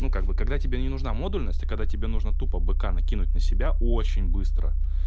ну как бы когда тебе не нужна модульности а когда тебе нужно тупо быка накинуть на себя очень быстро